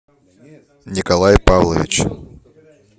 николай павлович